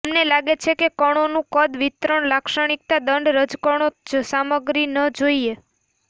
અમને લાગે છે કે કણોનું કદ વિતરણ લાક્ષણિકતા દંડ રજકણો જ સામગ્રી ન જોઈએ